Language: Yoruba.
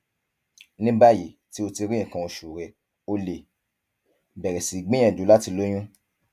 ní báyìí tí o ti rí nǹkan oṣù rẹ o lè bẹrẹ sí gbìyànjú láti lóyún